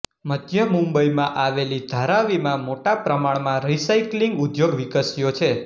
મધ્ય મુંબઈમાં આવેલી ધારાવી માં મોટાપ્રમાણમાં રીસાયક્લિંગ ઉદ્યોગ વિકસ્યો છે